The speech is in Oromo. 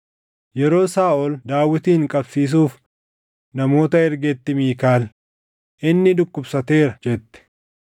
Yeroo Saaʼol Daawitin qabsiisuuf namoota ergetti Miikaal, “Inni dhukkubsateera” jette.